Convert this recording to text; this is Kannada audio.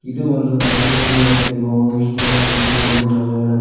ಇದು ಒಂದು ರಾತ್ರಿಯ ಸಮಯದಲ್ಲಿರುವ ಹೋಂಸ್ಟೇ ಯ ರೂಮ್ ಎಂದು ನಾವು ಹೇಳಬಹು --